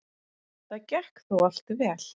Það gekk þó allt vel.